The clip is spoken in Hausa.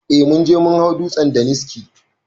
Eh munje mun hau dutsen daniski